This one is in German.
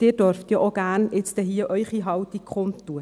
Auch Sie dürfen gleich Ihre Haltung kundtun.